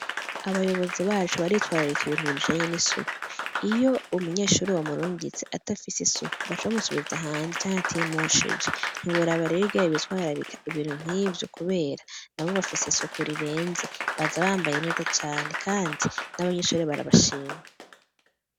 Abayobozi bacu baritwararika ibintu bijanye n'isuku. Iyo umunyeshuri wamurungitse adafise isuka, baca bamusubiza hanze, canke atimosheje. Ntiworaba rero ingene bitwararika ibintu nk'ivyo kubera nabo bafise isuku rirenze. Baza bambaye neza cane, kandi n'abanyeshure barabashima.